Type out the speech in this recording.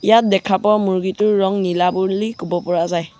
ইয়াত দেখা পোৱা মূৰ্গীটোৰ ৰং নীলা বুৰলি ক'ব পৰা যায়।